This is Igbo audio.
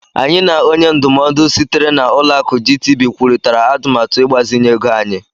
Anyị na onye ndụmọdụ sitere na Ụlọakụ GTB kwurịtara atụmatụ ịgbazinye ego anyị.